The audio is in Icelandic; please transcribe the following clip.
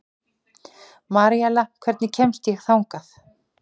Maríella, hvernig kemst ég þangað?